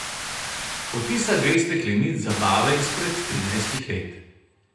Odtisa dveh steklenic z zabave izpred trinajstih let.